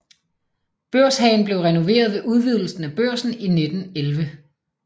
Børshagen blev renoveret ved udvidelsen af Børsen i 1911